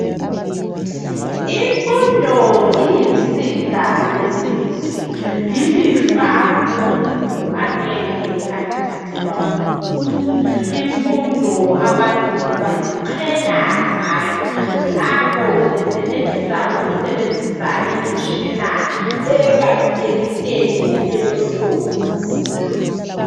Imfundo iyinsika yesizwe lilifa lomuntu angeke alithathelwa ngumuntu imfundo abantu baziqhenya ngayo nanko besenelisa ukusebenzisa imitshina ebalulekileyo elohlonzi.